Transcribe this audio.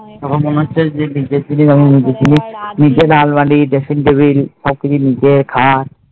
তখন মনে হচ্ছে সব নিজের জিনিস যে নিজের জিনিস নিজের আলমারি dressing table সব কিছু নিজের খাট